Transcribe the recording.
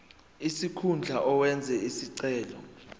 sikhundla owenze isicelo